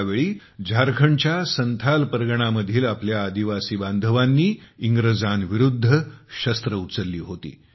त्यावेळी झारखंडच्या संथाल परगणा मधील आपल्या आदिवासी बांधवांनी इंग्रजांविरुद्ध शस्त्रे उचलली होती